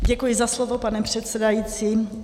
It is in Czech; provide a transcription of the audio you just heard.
Děkuji za slovo, pane předsedající.